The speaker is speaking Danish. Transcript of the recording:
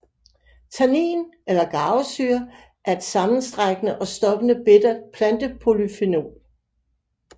Tannin eller garvesyre er et sammenstrækkende og stoppende bittert plantepolyfenol